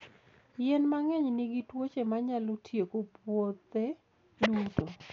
Yien mang'eny nigi tuoche manyalo tieko puothe duto.